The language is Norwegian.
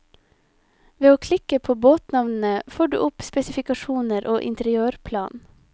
Ved å klikke på båtnavnene får du opp spesifikasjoner og interiørplan.